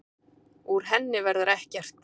Úr henni verður ekkert.